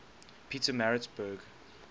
pietermaritzburg